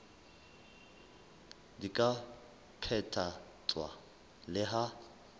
di ka phethahatswa le ha